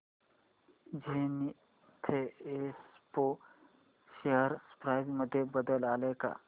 Zenith Expo share price मध्ये बदल आलाय का